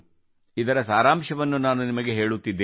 ಇದರ ಸಾರಾಂಶವನ್ನು ನಾನು ನಿಮಗೆ ಹೇಳುತ್ತಿದ್ದೇನೆ